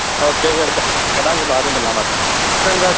okay ਫਿਰ ਕਰਾਂਗੇ ਬਾਅਦ ਚ ਗੱਲਾਂ ਬਾਤਾਂ